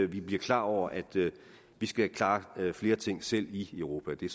vi blive klar over at vi skal klare flere ting selv i europa det er